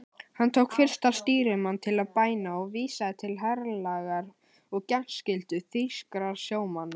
Hann tók fyrsta stýrimann til bæna og vísaði til herlaga og þegnskyldu þýskra sjómanna.